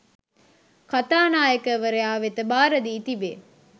කථානායකවරයා වෙත භාරදී තිබේ